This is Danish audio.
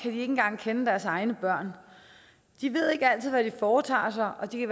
ikke engang kende deres egne børn de ved ikke altid hvad de foretager sig og de